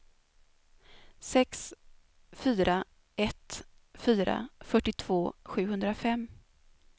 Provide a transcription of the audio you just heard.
sex fyra ett fyra fyrtiotvå sjuhundrafem